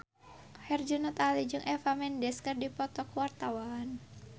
Herjunot Ali jeung Eva Mendes keur dipoto ku wartawan